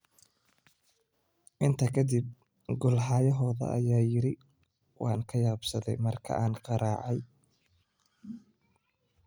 Intaa ka dib, goolhayahooda ayaa yidhi waan ka yaabsaday markii aan garaacay.”